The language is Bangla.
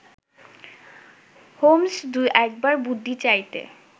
হোম্স্ দু-এক বার বুদ্ধি চাইতে